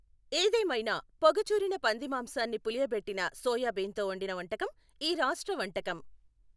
ఏదేమైనా, పొగచూరిన పంది మాంసాన్ని పులియబెట్టిన సోయాబీన్తో వండిన వంటకం ఈ రాష్ట్ర వంటకం.